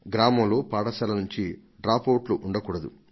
గ్రామంలో పాఠశాల నుంచి డ్రాపవుట్లు ఉండకూడదు